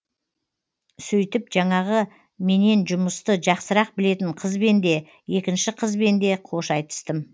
сөйтіп жаңағы менен жұмысты жақсырақ білетін қызбен де екінші қызбенде қош айтыстым